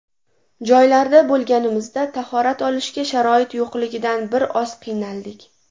Joylarda bo‘lganimizda tahorat olishga sharoit yo‘qligidan bir oz qiynaldik”.